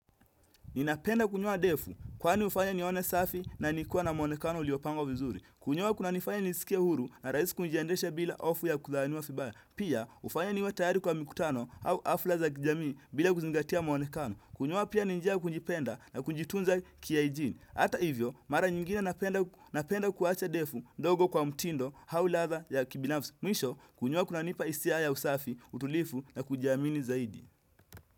Ninapenda kunyoa ndevu, kwani hufanya nione safi na nikiwa na muonekano uliopangwa vizuri. Kunyoa kunanifanya nijisikie huru na rahisi kujiendesha bila hofu ya kudhaniwa vibaya. Pia, hufanya niwe tayari kwa mikutano au hafla za kijamii bila kuzingatia muonekano. Kunyoa pia ni njia kujipenda na kujitunza kihygiene. Hata hivyo, mara nyingine napenda kuacha ndevu ndogo kwa mtindo au ladha ya kibinafsi. Mwisho, kunyoa kunanipa hisia ya usafi, utulivu na kujiamini zaidi.